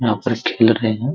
यहां पर खेल रहे हैं।